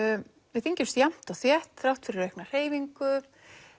við þyngjumst jafnt og þétt þrátt fyrir aukna hreyfingu